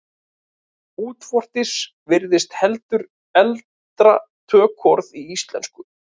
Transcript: Útvortis virðist heldur eldra tökuorð í íslensku.